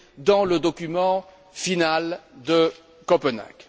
dans le document final de Copenhague.